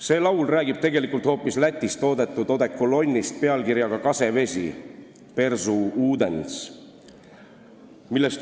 See laul räägib tegelikult hoopis Lätis toodetud odekolonnist nimega Kasevesi ehk Berzu Udens.